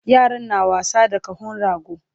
Yaran na wasa da kahon rago